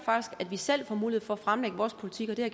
at vi selv får mulighed for at fremlægge vores politik og det har